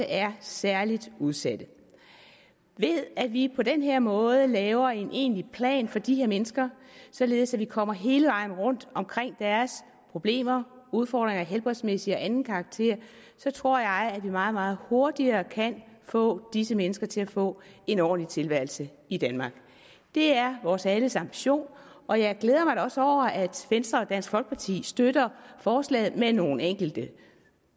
er særligt udsatte ved at vi på den her måde laver en egentlig plan for de her mennesker således at vi kommer hele vejen rundt om deres problemer udfordringer af helbredsmæssig og anden karakter tror jeg at vi meget meget hurtigere kan få disse mennesker til at få en ordentlig tilværelse i danmark det er vores alles ambition og jeg glæder mig da også over at venstre og dansk folkeparti støtter forslaget med nogle enkelte